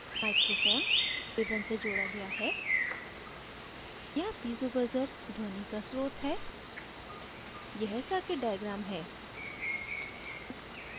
microphone mic a1 से जोड़ा गया है यहाँ piezo buzzer piezo ध्वनि का स्रोत है यह सर्किट डायग्राम है